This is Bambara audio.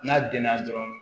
N'a denna dɔrɔn